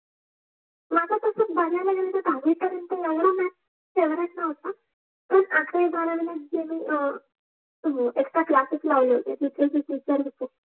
दहावि पर्य्नत एवढा maths favourite नवता, हो क्लासेस लावले होते